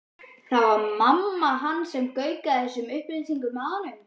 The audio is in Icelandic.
Það var mamma hans sem gaukaði þessum upplýsingum að honum.